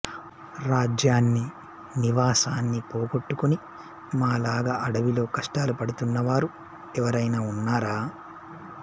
రాజ్యాన్ని నివాసాన్ని పోగొట్టుకుని మాలాగ అడవిలో కష్టాలుపడుతున్నవారు ఎవరైనా ఉన్నారా